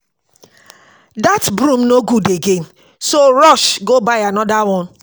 Dat broom no good again so rush go buy another one